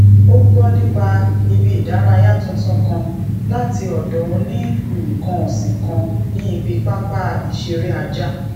ó gbó nípa ibi idaraya tuntun kan láti odò oni nnkan osin kan ni ibi papa isere aja